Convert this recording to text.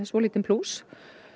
svolítinn plús